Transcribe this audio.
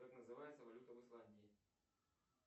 как называется валюта в исландии